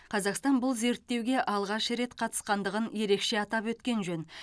қазақстан бұл зерттеуге алғаш рет қатысқандығын ерекше атап өткен жөн